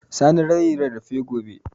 Sani zai yi rarrafe gobe